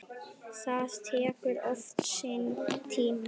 Það tekur oft sinn tíma.